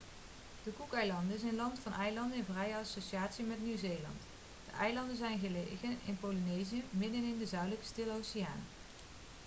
de cookeilanden is een land van eilanden in vrije associatie met nieuw-zeeland de eilanden zijn gelegen in polynesië middenin de zuidelijke stille oceaan